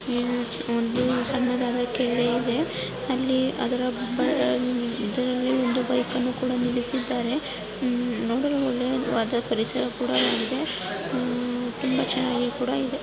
ಇಲ್ಲಿ ಒಂದು ಸಣ್ಣದಾದ ಕೆರೆ ಇದೆ. ಅಲ್ಲಿ ಅದರ ಬ ಅಹ್ ದಿಲಿ ಒಂದು ಬೈಕ್ ಅನ್ನು ಕೂಡ ನಿಲ್ಲಿಸಿದ್ದಾರೆ ಹಮ್ ನೋಡಲು ಒಳ್ಳೆವಾದ ಪರಿಸರ ಕೂಡ ಉಮ್ ಇದೆ. ಉಮ್ ತುಂಬಾ ಚೆನ್ನಾಗಿ ಕೂಡ ಇದೆ.